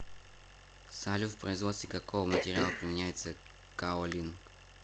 салют в производстве какого материала применяется каолин